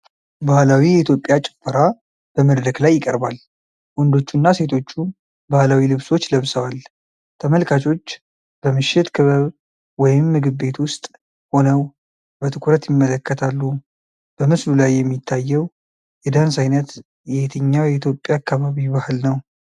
ባህላዊ የኢትዮጵያ ጭፈራ በመድረክ ላይ ይቀርባል። ወንዶቹና ሴቶቹ ባህላዊ ልብሶች ለብሰዋል። ተመልካቾች በምሽት ክበብ ወይም ምግብ ቤት ውስጥ ሆነው በትኩረት ይመለከታሉ። በምስሉ ላይ የሚታየው የዳንስ ዓይነት የየትኛው የኢትዮጵያ አካባቢ ባህል ነው?